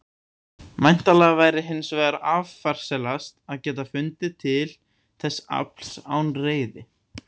Væntanlega væri hins vegar affarasælast að geta fundið til þess afls án reiði.